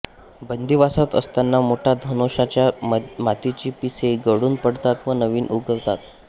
बंदीवासात असताना मोठ्या धनेशाच्या मादीची पिसे गळून पडतात व नवी उगवतात